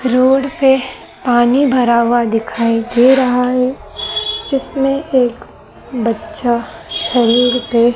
road पे पानी भरा हुआ दिखाई दे रहा हैं जिसमें एक बच्चा शरीर पे--